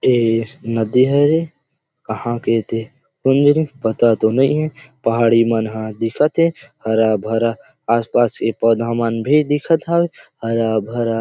ए नदी हरे कहा के ते कोन जानी पता तो नई हे पहाड़ी मन ह दिखत थे हरा भरा आस पास पौधा भी दिखत हावे हरा भरा